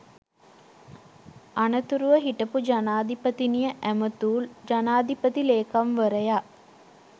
අනතුරුව හිටපු ජනාධිපතිනිය ඇමතූ ජනාධිපති ලේකම්වරයා